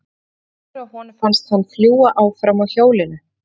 Hann var svo glaður að honum fannst hann fljúga áfram á hjólinu.